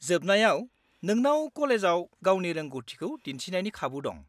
-जोबनायाव नोंनाव कलेजाव गावनि रोंग'थिखौ दिन्थिनायनि खाबु दं।